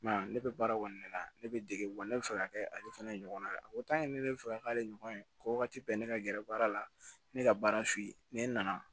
ne bɛ baara kɔni la ne bɛ dege wa ne bɛ fɛ ka kɛ ale fana ye ɲɔgɔn na o ne bɛ fɛ ka k'ale ɲɔgɔn ye ko waati bɛɛ ne ka gɛrɛ baara la ne ka baara f'i ye ni ne nana